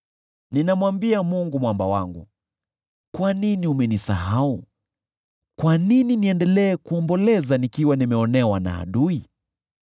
Ninamwambia Mungu Mwamba wangu, “Kwa nini umenisahau? Kwa nini niendelee kuomboleza, nikiwa nimeonewa na adui?”